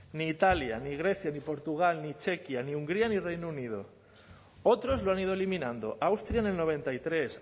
ni italia ni grecia ni portugal ni hungría ni reino unido otros lo han ido eliminando austria en el noventa y tres